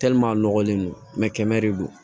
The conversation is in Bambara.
a nɔgɔlen do kɛmɛ de do